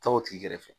Taa o tigi kɛrɛfɛ